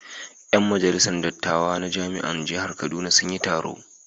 Yan majalisar dattawa na jami'an jihar Kaduna suna yin taro.